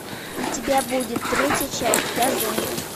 у тебя будет третья часть я зомби